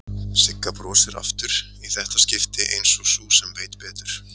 Sigga brosir aftur, í þetta skipti einsog sú sem veit betur.